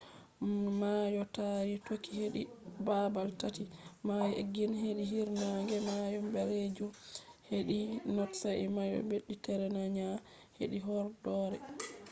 mayo taari toki hedi babal tati: mayo egiyan hedi hiirnaange mayo ɓalejum hedi not sai mayo mediteraniyan hedi horɗoore